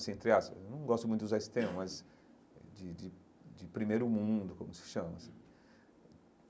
Assim entre aspas eu não gosto muito de usar esse termo, mas de de de primeiro mundo, como se chama assim.